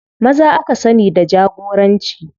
Maza aka sani da jagoranci.